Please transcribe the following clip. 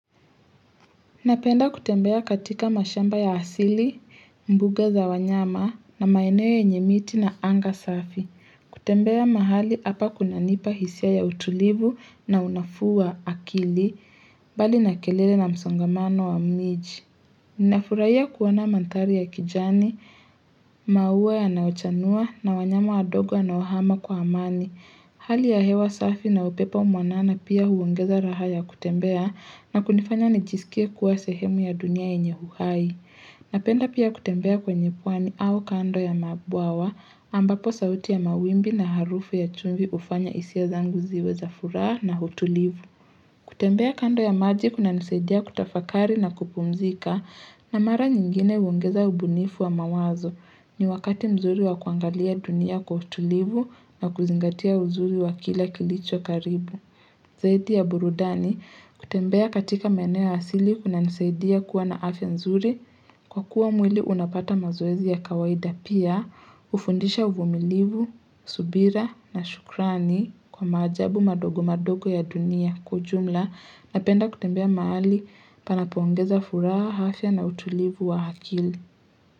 Napenda kutembea katika mashamba ya asili, mbuga za wanyama na maeneo yenye miti na anga safi. Kutembea mahali hapa kunanipa hisia ya utulivu na unafuu wa akili, mbali na kelele na msongamano wa miji. Ninafurahia kuona mandhari ya kijani, maua yanayochanua na wanyama wadogo wanaohama kwa amani. Hali ya hewa safi na upepo mwanana pia huongeza raha ya kutembea na kunifanya nijisikie kuwa sehemu ya dunia yenye uhai. Napenda pia kutembea kwenye pwani au kando ya mabwawa ambapo sauti ya mawimbi na harufu ya chumvi hufanya hisia zangu ziwe za furaha na utulivu. Kutembea kando ya maji kunanisaidia kutafakari na kupumzika na mara nyingine huongeza ubunifu wa mawazo. Ni wakati mzuri wa kuangalia dunia kwa utulivu na kuzingatia uzuri wa kila kilicho karibu. Zaidi ya burudani kutembea katika maeneo asili kunanisaidia kuwa na afya nzuri kwa kuwa mwili unapata mazoezi ya kawaida pia, hufundisha uvumilivu, subira na shukrani kwa maajabu madogo madogo ya dunia kwa ujumla napenda kutembea mahali panapoongeza furaha, afya na utulivu wa akili.